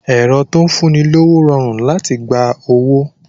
Ẹ̀rọ tó ń fún ni lówó rọrùn láti gba owó